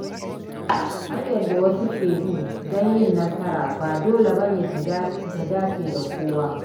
Hanyar da wasu ke bi don yin nasara ba dole ba ne ta dace da kowa.